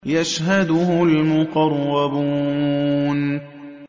يَشْهَدُهُ الْمُقَرَّبُونَ